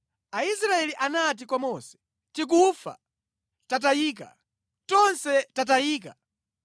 Aisraeli anati kwa Mose, “Tikufa! Tatayika, tonse tatayika!